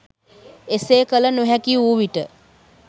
එසේ කළ නොහැකිවූ විට